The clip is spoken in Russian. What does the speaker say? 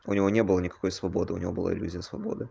у него не было никакой свободы у него было иллюзия свободы